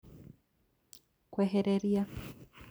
Kwehereria